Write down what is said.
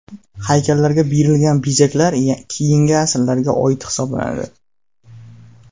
Haykallarga berilgan bezaklar keyingi asrlarga oid hisoblanadi.